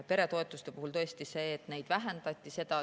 Peretoetuste puhul on tõesti nii, et neid vähendati.